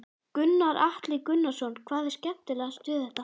Gunnar Atli Gunnarsson: Hvað er skemmtilegast við þetta?